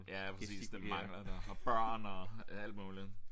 Ja præcis det mangler der og børn og alt muligt